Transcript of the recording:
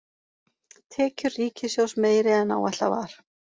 Tekjur ríkissjóðs meiri en áætlað var